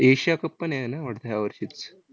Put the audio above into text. Asia cup पण आहे ना वाटतं ह्यावर्षीच?